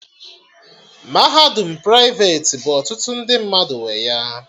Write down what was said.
Mahadum praiveti bụ ọtụtụ ndị mmadụ nwe ya